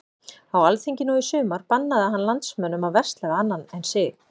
Á alþingi nú í sumar bannaði hann landsmönnum að versla við annan en sig.